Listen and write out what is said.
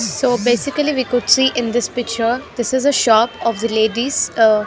so basically we could see in this picture this is the shop of the ladies uh --